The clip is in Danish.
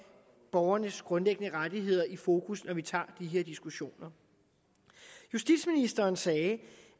borgernes grundlæggende rettigheder i fokus når vi tager de her diskussioner justitsministeren sagde